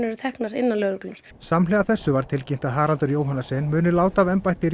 eru teknar innan lögreglunnar samhliða þessu var tilkynnt að Haraldur Johannessen muni láta af embætti